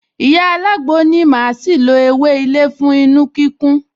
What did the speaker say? Ìyá alágbo ní màá ṣì lo ewé ilé fún inu-kíkún